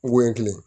Ŋoɲɛ kelen